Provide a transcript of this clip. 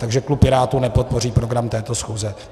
Takže klub Pirátů nepodpoří program této schůze.